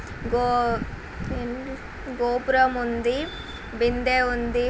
ఆ గో-గో-గోపురం ఉంది బిందె ఉంది.